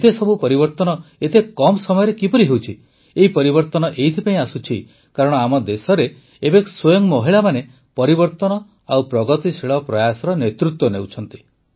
ଏତେସବୁ ପରିବର୍ତ୍ତନ ଏତେ କମ୍ ସମୟରେ କିପରି ହେଉଛି ଏହି ପରିବର୍ତ୍ତନ ଏଇଥିପାଇଁ ଆସୁଛି କାରଣ ଆମ ଦେଶରେ ଏବେ ସ୍ୱୟଂ ମହିଳାମାନେ ପରିବର୍ତ୍ତନ ଓ ପ୍ରଗତିଶୀଳ ପ୍ରୟାସର ନେତୃତ୍ୱ ନେଉଛନ୍ତି